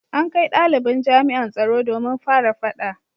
An kai dalibin jami’an tsaro domin fara fada